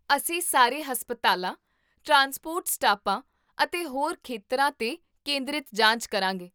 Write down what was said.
ਅਸੀਂ ਸਾਰੇ ਹਸਪਤਾਲਾਂ, ਟਰਾਂਸਪੋਰਟ ਸਟਾਪਾਂ ਅਤੇ ਹੋਰ ਖੇਤਰਾਂ 'ਤੇ ਕੇਂਦ੍ਰਿਤ ਜਾਂਚ ਕਰਾਂਗੇ